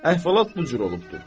Əhvalat bu cür olubdur.